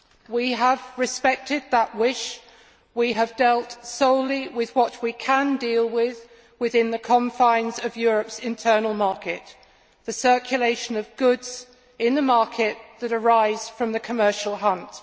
We have respected that wish we have dealt solely with what we can deal with within the confines of Europe's internal market the circulation of goods in the market that arise from the commercial hunt.